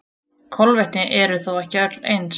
Kolvetni eru þó ekki öll eins.